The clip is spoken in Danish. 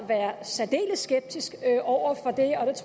være særdeles skeptisk over